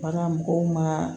Bagan mɔgɔw ma